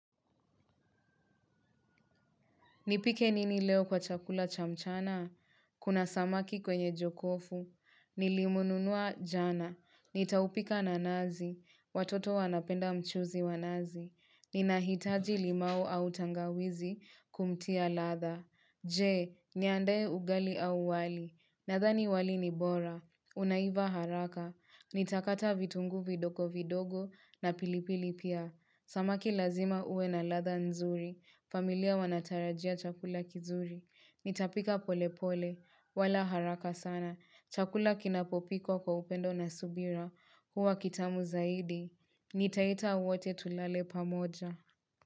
Nipike nini leo kwa chakula chamchana? Kuna samaki kwenye jokofu. Nilimununua jana. Nitaupika na nazi. Watoto wanapenda mchuzi wa nazi. Nina hitaji limau au tangawizi kumtia latha. Je, niandae ugali au wali. Nadhani wali ni bora. Unaiva haraka. Nitakata vitunguu vidogo vidogo na pilipili pia. Samaki lazima uwe na ladha nzuri. Familia wanatarajia chakula kizuri. Nitapika pole pole. Wala haraka sana. Chakula kinapopikwa kwa upendo na subira. Huwa kitamu zaidi. Nitaita wote tulale pamoja.